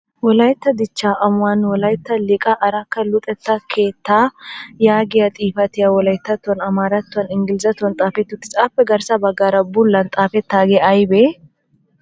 Wolaytta dichchaa amuwaan Wolaytta liiqaa arakka Luxetta keettaa yaagiya xifatiyaa Wolayttattuwan, amaarattuwaninne engilzatyuwan xaafetti uttis. Appe garssa baggaara bullan xaafettaagee ayibee?